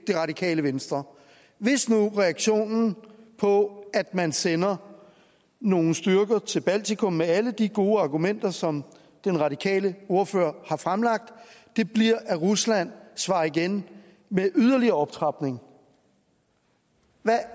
radikale venstre hvis nu reaktionen på at man sender nogle styrker til baltikum med alle de gode argumenter som den radikale ordfører har fremlagt bliver at rusland svarer igen med yderligere optrapning